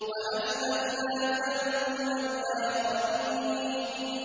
وَأَزْلَفْنَا ثَمَّ الْآخَرِينَ